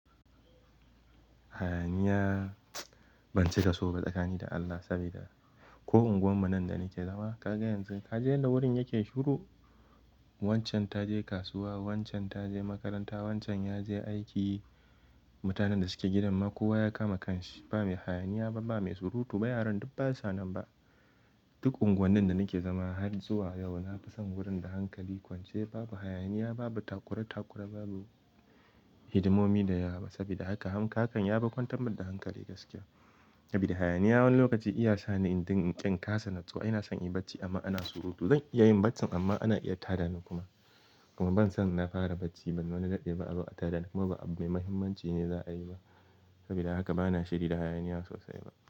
Hayaniya ban cika so ba tsakani da Allah sabida ko unguwar mu nan da nake zama kaga yanzu kaji yadda wurin yake shiru. Wancan ta je kasuwa, wancan ta je makaranta, wancan ya je aiki. Mutanen da suke gidan ma kowa ya kama kanshi ba mai hayaniya ba, ba mai surutu ba yaran duk basa nan ba. Duk unguwannin da nake zama har zuwa yau na fi son wurin da hankali kwance babu hayaniya babu takurae-takure babu hidimomi da yawa sabida haka haann yafi kwantar da hankali gaskiya. Sabida hayaniya wani lokaci iya sani idan in ka kasa natsuwa. Ina son in yi bacci amma ana surutu zan iya yin bacci amma ana iya tada ni kuma. Kuma ban san na fara bacci ban wani daɗe a azo a tada ni kuma ba abu mai muhimmanci ne za a yi ba sabida haka bana shirida hayaniya sosai ba.